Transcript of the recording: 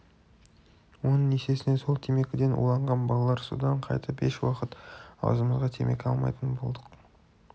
оның есесіне сол темекіден уланған балалар содан қайтып еш уақыт аузымызға темекі алмайтын болдық